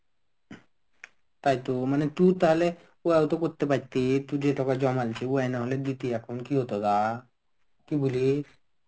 তাইতো মানে তু তাহলে ওয়ও তো করতে পারতে তু যে টাকা জমাইছিস ওয়াহ না হলে দিতি এখন কি হতো গা কি বলিস.